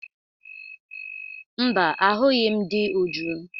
Mba, ahụghị m di Uju.